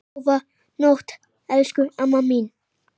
Góða nótt, elsku amma mín.